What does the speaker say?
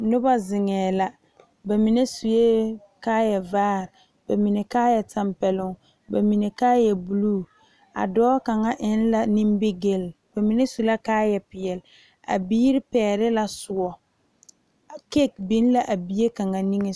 Noba zeŋe la bamine suɛ kaaya vaare bamine kaaya tanpɛloŋ bamine kaaya buluu a dɔɔ kaŋa eŋ la nimigele bamine su la kaaya peɛle a biiri pegle la soɔ kai biŋ la a bie kaŋa niŋe soga.